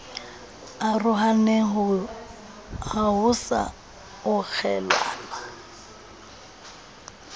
arohane ha ho sa okgelanwa